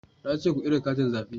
Na ce ku kirga katin zabe